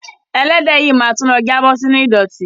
Ẹlẹ́dẹ̀ yìí ma tún lọ jábọ̀ sínú ìdọ̀tí.